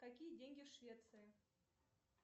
какие деньги в швеции